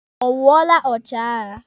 Ọ wụọla ọchịagha?